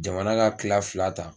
Jamana ka kila fila ta.